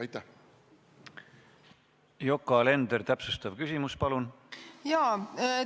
Yoko Alender, täpsustav küsimus, palun!